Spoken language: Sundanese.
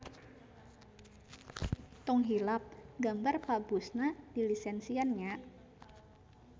Tong hilap gambar Pa Bush-na dilisensian nya.